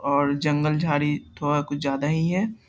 और जंगल झाड़ी थोडा कुछ ज्‍यादा ही है।